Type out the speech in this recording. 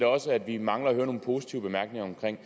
også vi mangler at høre nogle positive bemærkninger om man